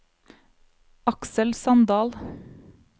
Aksel Sandal